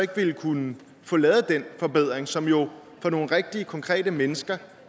ville kunne få lavet den forbedring som jo for nogle rigtige konkrete mennesker